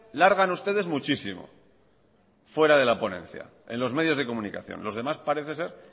largan ustedes muchísimo fuera de la ponencia en los medios de comunicación los demás parece ser